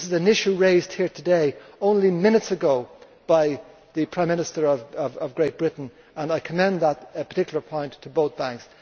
This is an issue raised here today only minutes ago by the Prime Minister of Great Britain, and I commend that particular point to both banks.